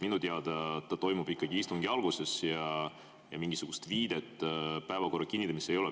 Minu teada ta toimub istungi alguses ja mingisugust viidet päevakorra kinnitamisele ei ole.